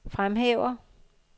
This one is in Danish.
fremhæver